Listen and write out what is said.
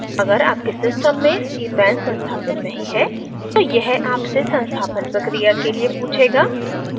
अगर आपके सिस्टम में cpan संस्थापित नहीं है तो यह आपसे संस्थापन प्रक्रिया के लिए पूछेगा